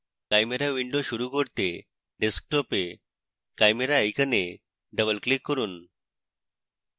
chimera window শুরু করতে ডেস্কটপে chimera icon double click করুন